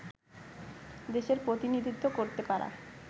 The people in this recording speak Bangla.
দেশের প্রতিনিধিত্ব করতে পারা